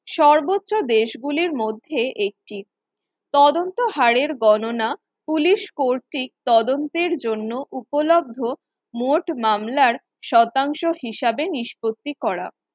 সর্বোচ্চ দেশগুলির মধ্যে একটি তদন্ত হাড়ের গণনা police কর্তৃক তদন্তের জন্য উপলব্ধ মোট মামলার শতাংশ হিসাবে নিষ্পত্তি করা